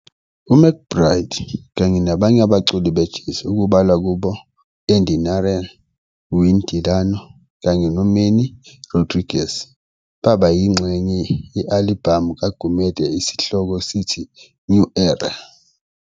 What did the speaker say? UMcBride kanye nabanye abaculi be jazz okubalwa kubo Andy Narell, Wayne DeLano kanye no Manny Rodriquez baba yinxenye ye-alibhamu kaGumede esihloko sithi "New Era".